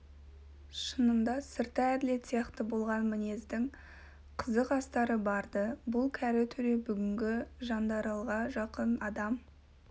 шынында сырты әділет сияқты болған мінездің қызық астары бар-ды бұл кәрі төре бүгінгі жандаралға жақын адам